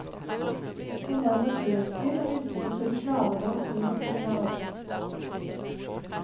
Han var en naturelsker, og elsket å kjøre slalåm og gå tur i skog og mark.